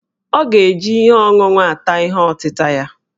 Ọ ga-eji ihe ọṅụṅụ ata ihe ọtịta ya